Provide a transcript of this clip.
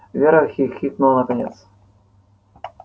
вера хихикнула наконец